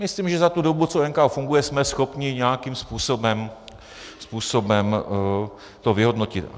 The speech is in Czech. Myslím, že za tu dobu, co NKÚ funguje, jsme schopni nějakým způsobem to vyhodnotit.